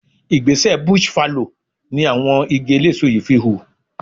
Igbẹ́sẹ̀ bush fallow in àwọn igi eléso yìí fi hù.